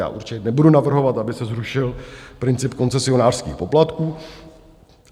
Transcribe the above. Já určitě nebudu navrhovat, aby se zrušil princip koncesionářských poplatků.